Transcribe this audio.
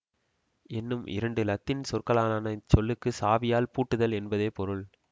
என்னும் இரண்டு இலத்தீன் சொற்களாலான இச்சொல்லுக்கு சாவியால் பூட்டுதல் என்பதே பொருள்